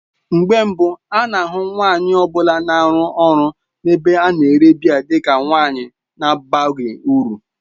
Mgbe mbụ a na-ahụ nwanyị ọ bụla na-arụ ọrụ n'ebe a na-ere biya dị ka nwanyị na-abaghị uru.